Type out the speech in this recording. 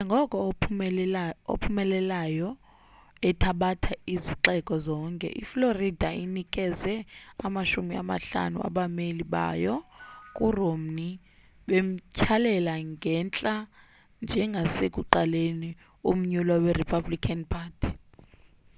njengoko ophumelelayo ethabatha izixeko zonke i-florida inikeze amashumi amahlanu abameli bayo ku romney bemthyalela ngentla njengosekuqaleni umnyulwa we-republican party